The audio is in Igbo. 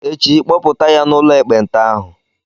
Echi, kpọpụta ya n'ụlọ ekpenta ahụ!